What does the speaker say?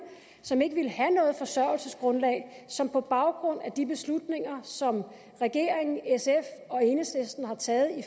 som ikke ville have noget forsørgelsesgrundlag som på baggrund af de beslutninger som regeringen sf og enhedslisten har taget i